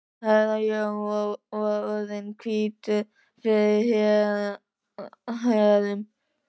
Herra Jón var orðinn hvítur fyrir hærum.